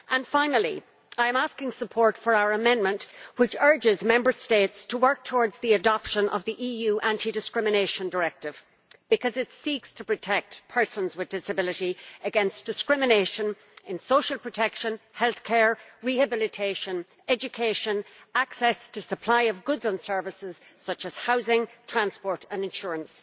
Finally, I am asking for support for our amendment which urges Member States to work towards the adoption of the EU Anti Discrimination Directive, because it seeks to protect persons with disabilities against discrimination in social protection, healthcare, rehabilitation, education and access to the supply of goods and services such as housing, transport and insurance.